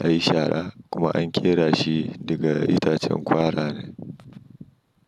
a yi shara kuma an ƙera shi daga itacen kwara ne.